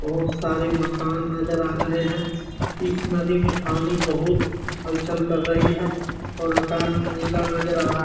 बहुत सारे मकान नजर आ रहे है इस नदी में पानी बहुत हलचल कर रही है और आकाश नीला नजर आ रहा है।